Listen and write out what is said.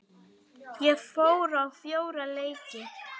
Ég fór á fjóra leiki.